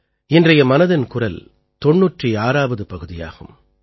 இன்றைய மனதின் குரல் 96ஆவது பகுதியாகும்